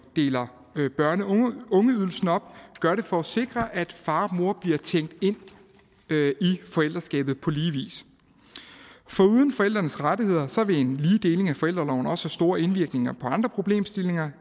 deler børne og ungeydelsen op gør det for at sikre at far og mor bliver tænkt ind i forældreskabet på lige vis foruden forældrenes rettigheder vil en lige deling af forældreorloven også have store indvirkninger på andre problemstillinger